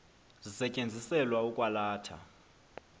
zisetyenziselwa ukwa latha